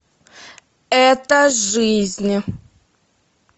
это жизнь